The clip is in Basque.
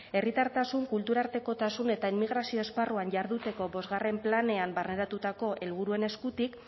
herritartasun kulturartekotasun eta emigrazio esparruan jarduteko bostgarren planean barneratutako helburuen eskutik